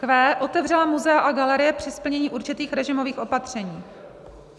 q) otevřela muzea a galerie při splnění určitých režimových opatření.